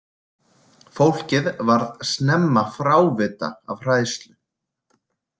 Fólkið varð snemma frávita af hræðslu.